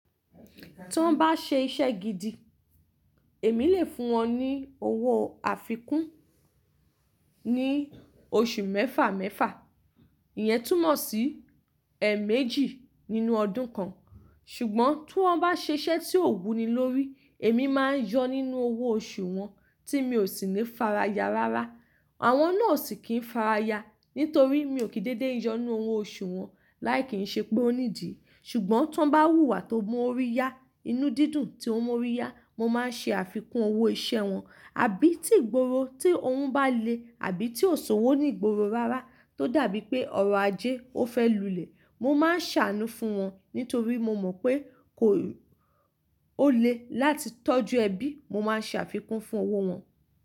Tí wọ́n bá ṣe iṣẹ́ gidi, èmi lè fún wọn ní owó àfikún ní oṣù mẹ́fà mẹ́fà, ìyẹn túmọ̀ sí ẹẹ̀mẹ́jì nínú ọdún kan. Ṣùgbọ́n tí wọ́n bá ṣe iṣẹ́ tí ò wuni lórí, èmi máa ń yọ nínú owó oṣù wọn tí mi ò sì ní fara ya rárá. Àwọn náà o sì kì n fara ya, nítorí mi ò kì n dédé yọnnu owó oṣù wọn láì kí n ṣe pé ó nídìí. Ṣùgbọ́n tí wọ́n bá wúwa tó mọ orí ya, inú dídùn tí ó mọ orí ya, mo máa ń ṣe àfikún owó iṣẹ́ wọn. Àbí tí ìgboro tí òhun bá le àbí tí ò ṣòwò ní ìgboro rárá tó dàbí pé ọrọ̀ ajé ó fẹ́ lulẹ̀, mo máa ń ṣàánú fún wọn nítorí mo mọ̀ pé kò o lè láti tọ́jú ẹbí, mo máa ṣàfikún fún owó wọn.